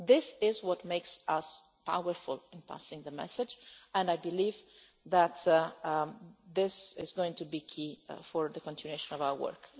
had. This is what makes us powerful in passing the message, and I believe that this is going to be key for the continuation of our work.